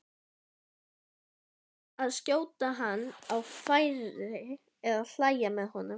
hvort að skjóta hann á færi eða hlæja með honum.